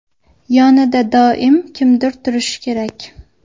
Yonida doim kimdir turishi kerak.